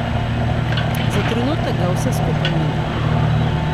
Za trenutek ga vse skupaj mine.